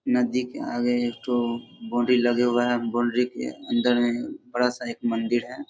नदी के आगे एक ठो बाउंड्री लगे हुआ है। बाउंड्री के अन्दर में बड़ा सा एक मंदिर है।